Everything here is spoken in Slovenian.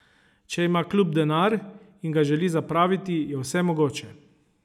Če ima klub denar in ga želi zapraviti, je vse mogoče.